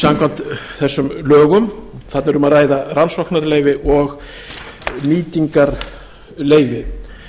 samkvæmt þessum lögum þarna er um að ræða rannsóknarleyfi og nýtingarleyfi þetta